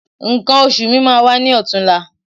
Nǹkan oṣù mi máa wá ní ọ̀tunla